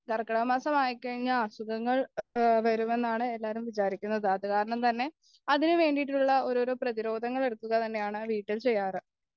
കർക്കിടകമാസം ആയിക്കഴിഞ്ഞാൽ അസുഖങ്ങൾ വരുമെന്നാണ് എല്ലാരും വിചാരിക്കുന്നത് അതുകാരണം തന്നെ അതിനുവേണ്ടിയിട്ടുള്ള ഓരോരോ പ്രതിരോധങ്ങൾ എടുക്കുക തന്നെയാണ് ആ വീട്ടിൽ ചെയ്യാറ്